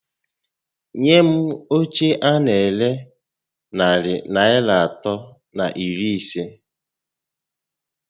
Nye m óche a na ere narị Naịra atọ na iri isé